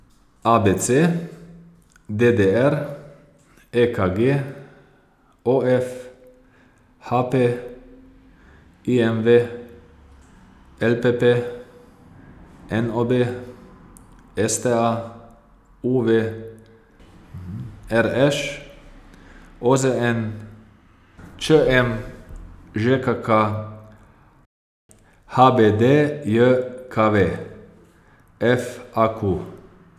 A B C; D D R; E K G; O F; H P; I M V; L P P; N O B; S T A; U V; R Š; O Z N; Č M; Ž K K; H B D J K V; F A Q.